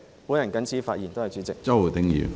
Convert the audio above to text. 我謹此發言，多謝主席。